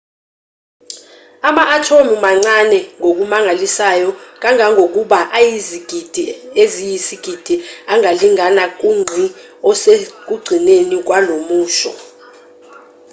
ama-athomu mancane ngokumangalisayo kangangokuba ayizigidi eziyizigidi angalingana kungqi osekugcineni kwalomusho